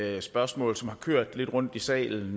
at det spørgsmål som har kørt lidt rundt i salen